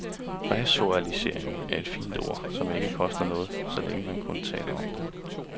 Resocialisering er et fint ord, som ikke koster noget, så længe, man kun taler om det.